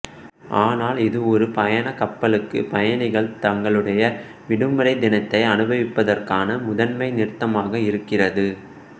ஆனால் இது ஒரு பயணக் கப்பலுக்கு பயணிகள் தங்களுடைய விடுமுறை தினத்தை அனுபவிப்பதற்கான முதன்மை நிறுத்தமாக இருக்கிறது